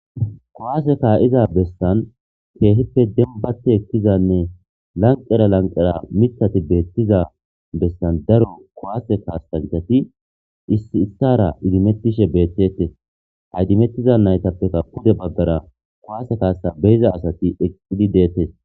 kowaase ka7iza bessan keehippe dembate ekkizanne lanqera lanqera mitati beettiza bessan daro kowase kaastancati issi issara idimettishe beettetes haydimettiza naytappeka pude baggara kowaase kaasa beyiza asati eqqidi deettes